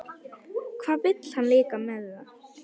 Hvað vill hann líka með það?